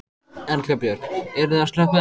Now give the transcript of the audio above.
Erla Björg: Eruð þið að slökkva elda?